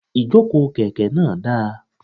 Ìjókòó kèké náà dáa